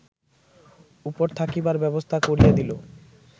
উপর থাকিবার ব্যবস্থা করিয়া দিল